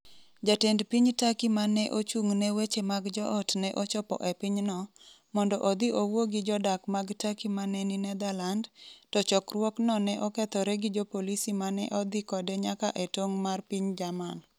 Jatend piny Turkey ma ne ochung’ ne weche mag joot ne ochopo e pinyno, mondo odhi owuo gi jodak mag Turkey ma ne ni Netherland, to chokruokno ne okethore gi jopolisi ma ne odhi kode nyaka e tong’ mar piny Jerman.